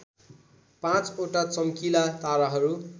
पाँचवटा चम्किला ताराहरू